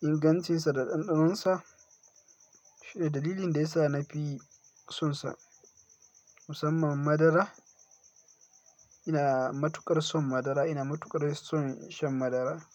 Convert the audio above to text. ingancinsa da ɗanɗanonsa shine dalilin da ya sa na fi sonsa musamman madara. Ina matukar son madara, ina matukar son shan madara.